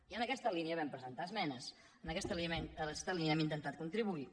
i en aquesta línia vam presentar esmenes en aquesta línia hem intentat contribuir hi